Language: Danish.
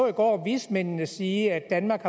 i går vismændene sige at danmark